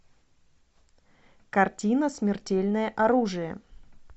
картина смертельное оружие